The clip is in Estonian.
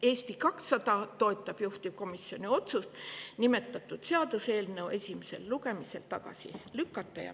Eesti 200 toetab juhtivkomisjoni otsust nimetatud seaduseelnõu esimesel lugemisel tagasi lükata.